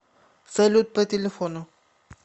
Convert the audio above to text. салют по телефону